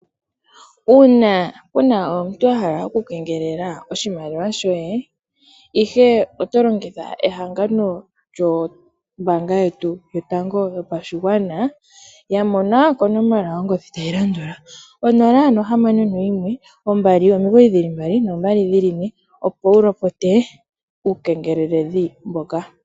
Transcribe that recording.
Uuna puna omuntu ahala okukengelela oshimaliwa shoye ihe oto longitha ehangano lyombaanga yetu yotango yopashigwana, ya mona konomola yongodhi tayi landula 0612992222, opo wu lopote uukengeleli mboka.